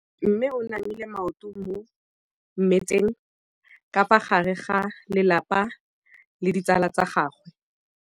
Mme o namile maoto mo mmetseng ka fa gare ga lelapa le ditsala tsa gagwe.